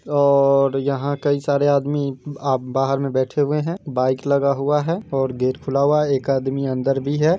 और यहाँ कई सारे आदमी आ बाहर में बैठे हुए है बाइक लगा हुआ हैऔर गेट खुला हुआ है। एक आदमी अंदर भी है।